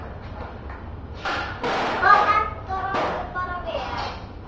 Það hentar okkur bara vel.